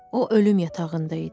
O ölüm yatağında idi.